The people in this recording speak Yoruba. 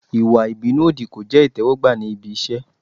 Ìwà ìbínú òdì kò jẹ́ ìtẹ́wọ́gbà níbi iṣẹ́.